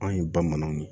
Anw ye bamananw ye